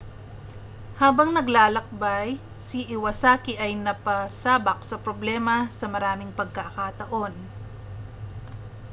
habang naglalakbay si iwasaki ay napasabak sa problema sa maraming pagkakataon